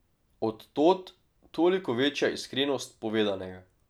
Od tod toliko večja iskrenost povedanega.